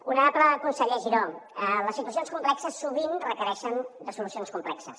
honorable conseller giró les situacions complexes sovint requereixen de solucions complexes